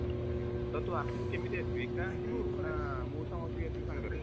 Okay ଠିକ୍ ଅଛି। ତ ଆସିବୁ କେମିତି ଆସିବୁ ଏକା ଆସିବୁ ନା ମଉସା ମାଉସୀ ବି ଆସିବେ ସାଙ୍ଗେରେ?